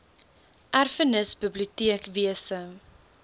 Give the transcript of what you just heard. erfenis biblioteek wese